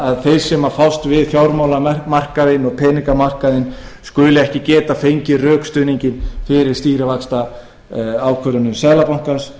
að þeir sem fást við fjármálamarkaðinn og peningamarkaðinn skuli ekki geta fengið rökstuðning fyrir stýrivaxtaákvörðunum seðlabankans